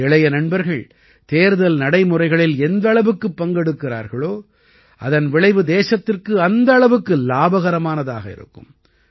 நமது இளைய நண்பர்கள் தேர்தல் நடைமுறைகளில் எந்த அளவுக்குப் பங்கெடுக்கிறார்களோ அதன் விளைவு தேசத்திற்கு அந்த அளவுக்கு இலாபகரமானதாக இருக்கும்